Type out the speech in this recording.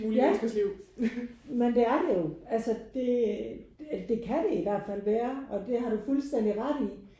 Ja men det er det jo. Altså det det kan det i hvert fald være og det har du fuldstændig ret i